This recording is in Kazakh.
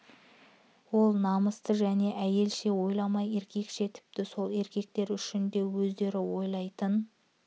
ол намысты және әйелше ойламай еркекше тіпті сол еркектер үшін де өздері ойлайтын